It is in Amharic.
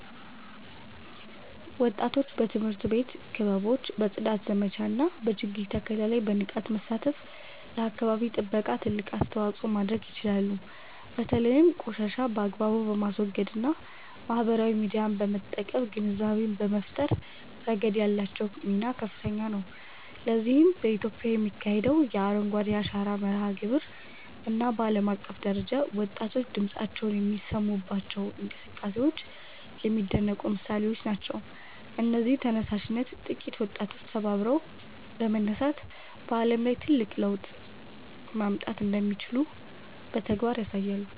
ወጣቶች በትምህርት ቤት ክበቦች፣ በጽዳት ዘመቻዎች እና በችግኝ ተከላ ላይ በንቃት በመሳተፍ ለአካባቢ ጥበቃ ትልቅ አስተዋጽኦ ማድረግ ይችላሉ። በተለይም ቆሻሻን በአግባቡ በማስወገድ እና ማህበራዊ ሚዲያን በመጠቀም ግንዛቤ በመፍጠር ረገድ ያላቸው ሚና ከፍተኛ ነው። ለዚህም በኢትዮጵያ የሚካሄደው የ"አረንጓዴ አሻራ" መርሃ ግብር እና በዓለም አቀፍ ደረጃ ወጣቶች ድምፃቸውን የሚያሰሙባቸው እንቅስቃሴዎች የሚደነቁ ምሳሌዎች ናቸው። እነዚህ ተነሳሽነቶች ጥቂት ወጣቶች ተባብረው በመነሳት በዓለም ላይ ትልቅ ለውጥ ማምጣት እንደሚችሉ በተግባር ያሳያሉ